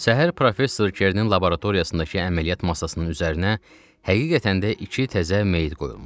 Səhər Professor Kernin laboratoriyasındakı əməliyyat masasının üzərinə həqiqətən də iki təzə meyit qoyulmuşdu.